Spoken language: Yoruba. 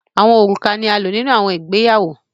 Rings are used in weddings